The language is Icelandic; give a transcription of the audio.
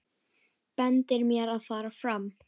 Bendir mér að fara fram.